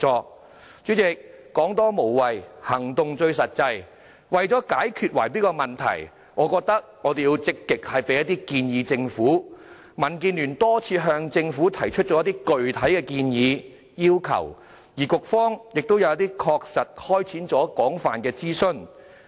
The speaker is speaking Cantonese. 代理主席，"說多無謂，行動最實際"，為了解決圍標問題，我認為我們要積極向政府提出意見，所以民建聯已多次向政府提出一些建議和要求，而局方亦曾就一些建議確實開展廣泛諮詢。